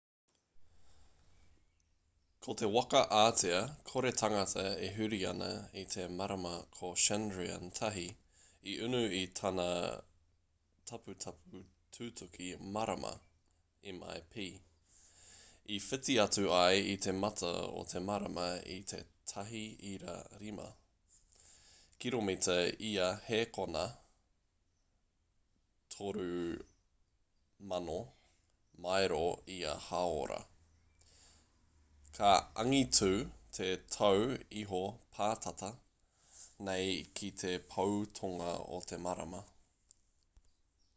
ko te waka ātea kore tangata e huri ana i te marama ko chandrayaan-1 i unu i tana taputapu tutuki marama mip i whiti atu ai i te mata o te marama i te 1.5 kiromita ia hēkona 3000 mairo ia hāora ka angitū te tau iho pātata nei ki te pou tonga o te marama